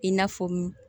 I n'a fɔ m